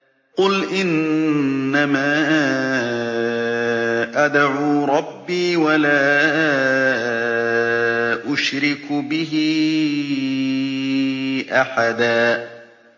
قُلْ إِنَّمَا أَدْعُو رَبِّي وَلَا أُشْرِكُ بِهِ أَحَدًا